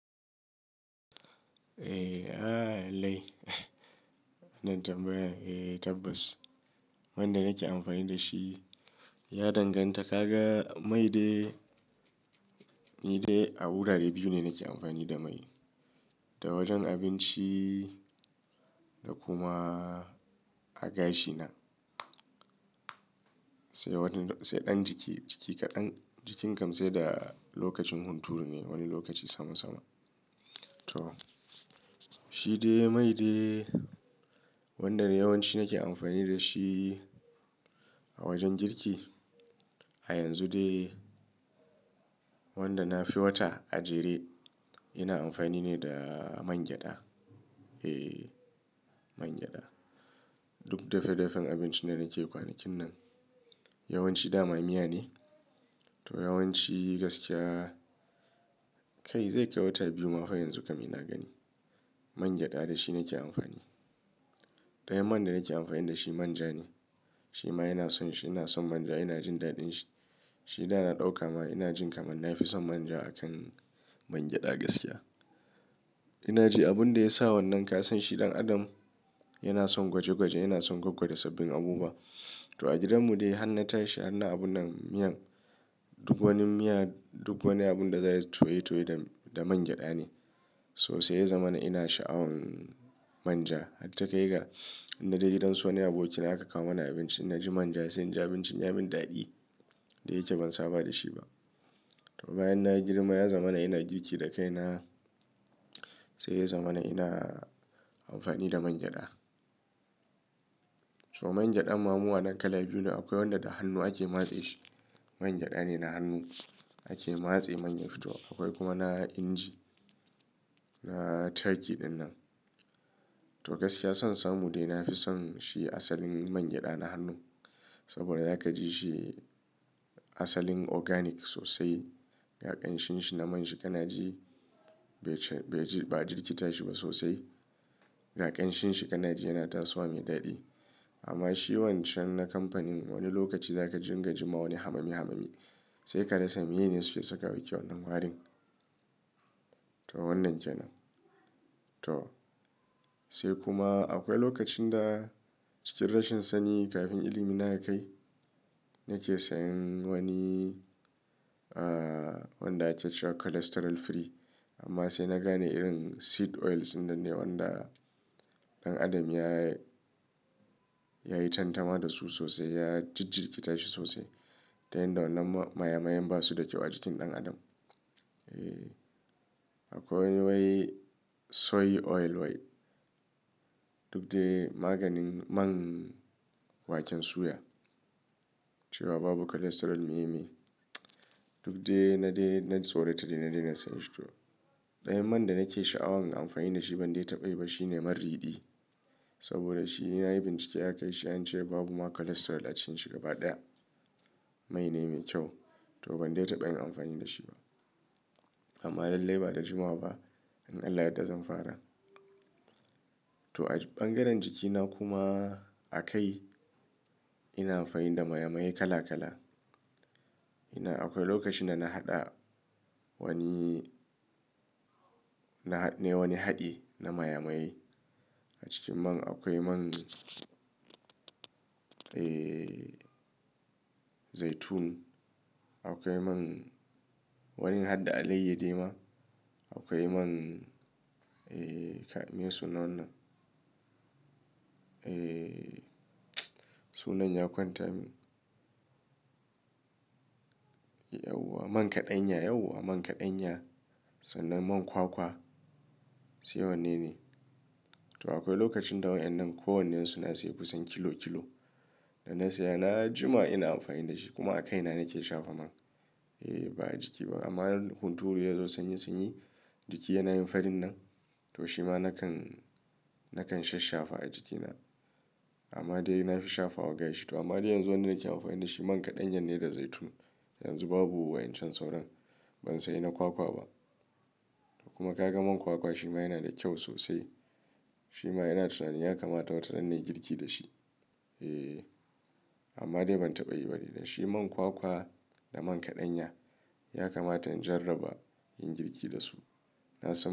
Eh, a lallai. Nan tambayan, eh tabbas. Wanda nake amfani da shi ya danganta. Kaga, mai dai, ni dai a wurare biyu ne nake amfani da mai. Da wajen abinci da kuma a gashi na. Sai wani to-- sai ɗan jiki, jiki kaɗan, jikin kam sai da lokacin hunturu ne, wani lokaci sama sama. To, shi dai mai dai wanda yawanci nake amfani da shi a wajen girki. A yanzu dai wanda nafi wata a jere ina amfani ne da man gyaɗa. Eh, man gyada. Duk dafe dafen abinci da nake kwanakin nan yawanci dama miya ne. To yawanci gaskiya kai zai kai wata biyu ma fa yanzu kam ina gani. Man gyada shi nake amfani. Ɗayan man da nake amfani da shi manja ne. Shi ma yana son shi, ina son manja, ina jin daɗin shi. Shi da ina ɗauka ma ina jin kamar nafi son manja a kan man gyada gaskiya. Ina ji abun da ya sa wannan kasan shi ɗan adam yana son gwaje gwaje, yana son gwaggwa da sabbin abubuwa. To a gidanmu dai har na tashi har na abun nan miyan duk wani miya, duk wani abun da zai toye toye da man gyaɗa ne. So sai ya zama na ina sha'awan manja. Hatta kai ga in na je gidan su wani abokina aka kawo mana abinci, na ji manja sai inji abincin ya min daɗi. Da yake ban saba da shi ba. To bayan na yi girma ya zama na ina girki da kai na sai ya zama na ina amfani da man gyada. To man gyadan ma mu anan kala biyu ne. Akwai wanda da hannu ake matse shi. Man gyada ne na hannu ake matse man ya fito. Akwai kuma na inji, na turkey ɗin nan. To gaskiya son samu dai nafi son shi asalin man gyada na hannu. Saboda za ka ji shi asalin organic sosai. Ga ƙanshin shi na man shi kana ji bai ji, ba a jirki ta shi ba sosai. Ga ƙanshin shi kana ji yana tasowa mai daɗi. Amma shi wancan na kamfanin wani lokaci za ka jingama wani hamami hamami. Sai ka rasa me ne suke saka wa yake wannan warin. To wannan kenan. To sai kuma akwai lokacin da cikin rashin sani kafin ilimi na ya kai nake sayan wani, ah, wanda ake cewa cholesterol free. Amma sai na gane irin seed oils ɗinnan ne wanda ɗan adam ya, ya yi tantama da su sosai. Ya jijjiriki tashi sosai. Ta yanda wannan man maye maye basu da kyau a jikin ɗan adam. Hatta kai ga in na je gidan wani abokina aka kawo mana abinci, na ji manja sun ji abincin ya min daɗi. Da yake ban saba da shi ba. Duk dai na dai, na tsorata dai na daina sayan shi to. Dayawan man da nake sha'awan in amfani da shi ban dai taɓa yi ba shine man ridi. Saboda shi na yi bincike aka yi shi an ce babu ma cholesterol a cikin shi gaba ɗaya. Mai ne mai kyau. To ban dai taɓa yin amfani da shi ba. Amma lallai ba da jimawa ba, in Allah yadda zan fara. To a bangaren jikina kuma a kai ina amfani da maye maye kala kala. Ina akwai lokacin da na haɗa wani, na, nai wani haɗi na maye maye. A cikin man akwai man, eh zaitun. Akwai man wani hadda alaiyadi ma. Akwai man, eh kai me su nan wannan. Eh, sunan ya kwanta min. Yauwa man kaɗanya, yauwa man kaɗanya sannan man kwakwa. Sai wanne ne. To akwai lokacin da wa'yannan ko wannan suna sai kusan kilo kilo. Da na saya na jima ina amfani da shi. Kuma a kaina nake shafa man. Eh ba a jiki ba. Amma hunturu ya zo sanyi sanyi jiki yana yin farin nan. To shi ma nakan, nakan sha shafa a jikina. Amma dai na fi shafa wa gashi to. Amma dai yanzu wanda nake amfani da shi man kaɗan ya ne da zaitun. Yanzu babu wayancan sauran. Ban saya na kwakwa ba. Kuma ka ga man kwakwa shi ma yana da kyau sosai. Shi ma ina tunanin ya kamata wataran bai girki da shi. Eh, amma dai ban taɓa yi bari da shi. Man kwakwa da man kaɗanya ya kamata in jarraba in girki da su. Na san.